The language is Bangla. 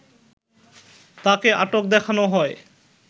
তাকে আটক দেখানো হয়